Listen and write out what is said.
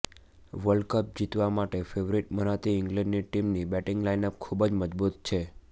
world cup જીતવા માટે favourite મનાતી ઈંગ્લેન્ડની ટીમની બેટીંગ લાઈનઅપ ખુબ જ મજબુત છે